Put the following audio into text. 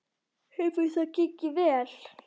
Hefur það gengið vel?